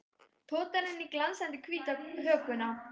Potar henni í glansandi hvíta hökuna.